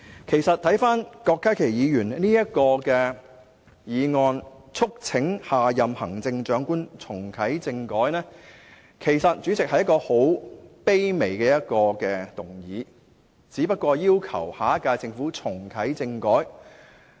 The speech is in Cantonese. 其實郭家麒議員提出"促請下任行政長官重啟政改"的議案，是一個十分卑微的請求，只是要求下屆政府重啟政改。